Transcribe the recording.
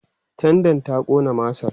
tendan ta Ƙona masar?